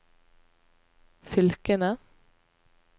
fylkene